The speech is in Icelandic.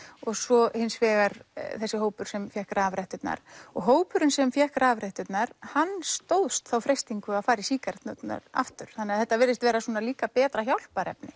og svo hins vegar þessi hópur sem fékk rafretturnar og hópurinn sem fékk rafretturnar hann stóðst þá freistingu að fara í sígaretturnar aftur þannig að þetta virðist vera líka betra hjálparefni